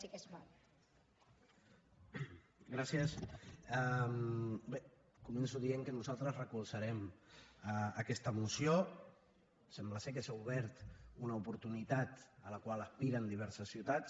bé començo dient que nosaltres recolzarem aquesta moció sembla que s’ha obert una oportunitat a la qual aspiren diverses ciutats